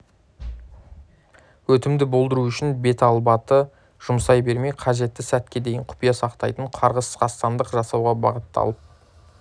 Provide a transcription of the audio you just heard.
өтімді болдыру үшін беталбаты жұмсай бермей қажетті сәтке дейін құпия сақтайтын қарғыс қастандық жасауға бағытталып